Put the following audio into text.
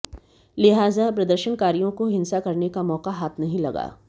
लिहाजा प्रदर्शनकारियों को हिंसा करने का मौका हाथ नहीं लगा